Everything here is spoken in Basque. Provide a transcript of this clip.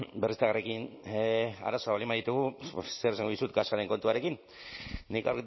berriztagarriekin arazoa baldin baditugu pues zer esango dizut gasaren kontuarekin nik